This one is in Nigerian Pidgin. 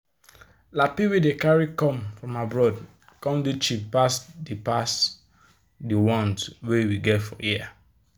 lappy wey dey carry come from abroad come dey cheap pass de pass de ones wey we get here.